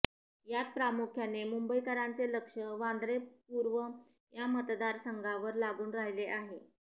यात प्रामुख्याने मुंबईकरांचे लक्ष वांद्रे पूर्व या मतदारसंघावर लागून राहिले आहे